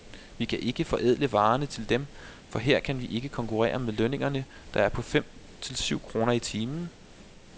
Vi kan ikke forædle varerne til dem, for her kan vi ikke konkurrere med lønningerne, der er på fem til syv kroner i timen.